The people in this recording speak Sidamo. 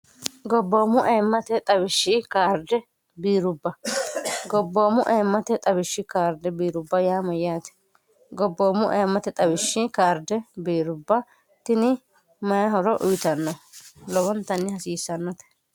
gobboommu aemmate xawishshi kaarje biirubba gobboommu aemmate xawishshi kaarde biirubba yaama yaate gobboommu aemmate xawishshi kaarde biirubba tini mayihoro uyitanno lobontanni hasiissannote